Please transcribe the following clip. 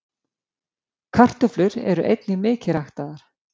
kartöflur eru einnig mikið ræktaðar